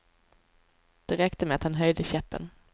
Det räckte med att han höjde käppen.